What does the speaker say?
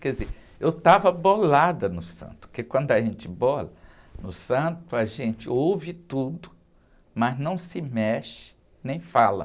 Quer dizer, eu estava bolada no santo, porque quando a gente bola no santo, a gente ouve tudo, mas não se mexe nem fala.